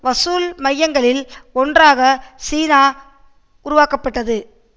வசூல் மையங்களில் ஒன்றாக சீனா உருவாக்கப்பட்டது